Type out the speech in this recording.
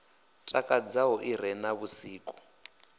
takadzaho i re na vhusiki